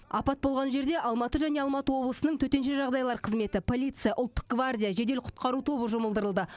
апат болған жерде алматы және алматы облысының төтенше жағдайлар қызметі полиция ұлттық гвардия жедел құтқару тобы жұмылдырылды